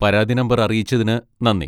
പരാതി നമ്പർ അറിയിച്ചതിന് നന്ദി.